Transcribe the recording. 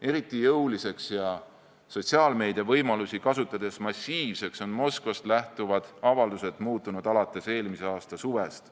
Eriti jõuliseks ja sotsiaalmeedia võimalusi kasutades massiivseks on Moskvast lähtuvad avaldused muutunud alates eelmise aasta suvest.